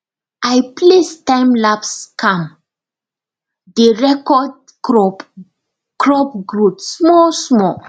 i place timelapse cam dey record crop crop growth smallsmall